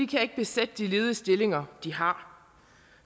kan ikke besætte de ledige stillinger de har